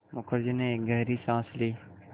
मुखर्जी ने एक गहरी साँस ली